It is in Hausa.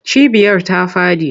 Cibiyar ta faɗi.